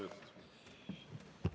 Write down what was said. Kokku kaheksa minutit.